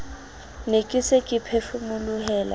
ne ke se ke phefomolohela